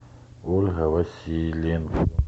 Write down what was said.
ольга васильевна